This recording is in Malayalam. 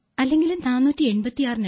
485 or 486 like that e tooth so